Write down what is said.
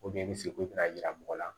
i bɛ se k'i bɛna yira mɔgɔ la